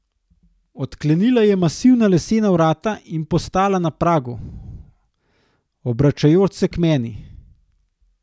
Odklenila je masivna lesena vrata in postala na pragu, obračajoč se k meni.